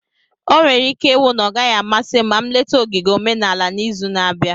Onwere ike iwu na ọ gaghị amasị m ma nleta ogige omenala n'izu na-abịa.